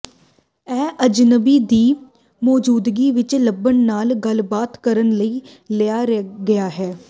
ਇਹ ਅਜਨਬੀ ਦੀ ਮੌਜੂਦਗੀ ਵਿਚ ਲਭਣਾ ਨਾਲ ਗੱਲਬਾਤ ਕਰਨ ਲਈ ਲਿਆ ਗਿਆ ਹੈ